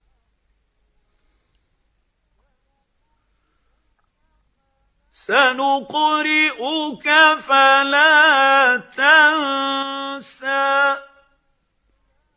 سَنُقْرِئُكَ فَلَا تَنسَىٰ